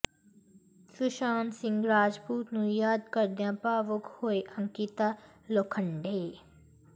ਸੁਸ਼ਾਂਤ ਸਿੰਘ ਰਾਜਪੂਤ ਨੂੰ ਯਾਦ ਕਰਦਿਆਂ ਭਾਵੁਕ ਹੋਈ ਅੰਕਿਤਾ ਲੋਖੰਡੇ